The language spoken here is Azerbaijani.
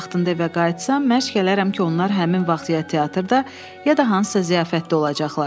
Vaxtında evə qayıtsam, mərclərəm ki, onlar həmin vaxt ya teatrda, ya da hansısa ziyafətdə olacaqlar.